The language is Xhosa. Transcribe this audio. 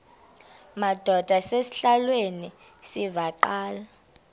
madod asesihialweni sivaqal